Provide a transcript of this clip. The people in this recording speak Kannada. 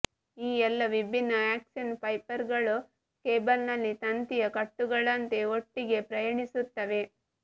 ಈ ಎಲ್ಲಾ ವಿಭಿನ್ನ ಆಕ್ಸಾನ್ ಫೈಬರ್ಗಳು ಕೇಬಲ್ನಲ್ಲಿ ತಂತಿಯ ಕಟ್ಟುಗಳಂತೆ ಒಟ್ಟಿಗೆ ಪ್ರಯಾಣಿಸುತ್ತವೆ